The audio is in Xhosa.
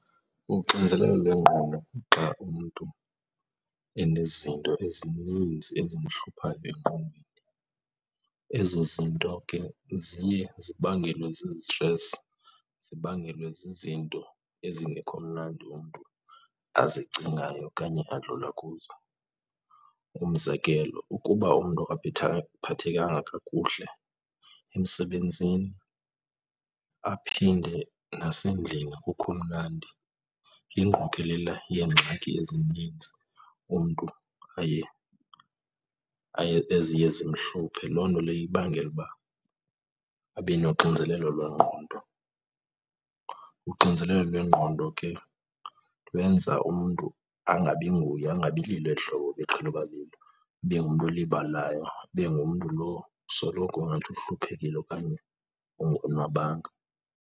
Uxinzelelo lwengqondo kuxa umntu enezinto ezininzi ezimhluphayo engqondweni. Ezo zinto ke ziye zibangelwe zizi-stress, zibangelwe zizinto ezingekho mnandi umntu azicingayo okanye adlula kuzo. Umzekelo, ukuba umntu akaphathekanga kakuhle emsebenzini aphinde nasendlini akukho mnandi, ingqokelela yeengxaki ezininzi umntu aye, eziye zimhluphe. Loo nto leyo ibangela uba abe noxinzelelo lwengqondo. Uxinzelelo lwengqondo ke lwenza umntu angabi nguye, angabi lilo eli hlobo ebeqhele uba lilo, ibe ngumntu olibalayo, ibe ngumntu lo kusoloko ngathi uhluphekile okanye ungonwabanga.